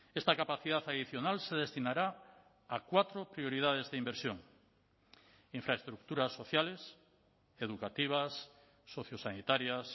esta capacidad adicional se destinará a cuatro prioridades de inversión infraestructuras sociales educativas socio sanitarias